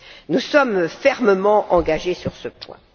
Nous sommes fermement engagés sur ce point.